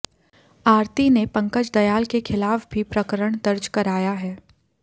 आरती ने पंकज दयाल के खिलाफ भी प्रकरण दर्ज कराया है